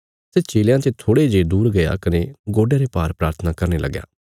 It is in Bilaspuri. सै चेलयां ते थोड़े जे दूर गया कने गोडयां रे भार प्राथना करने लगया